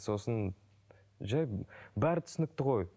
сосын бәрі түсінікті ғой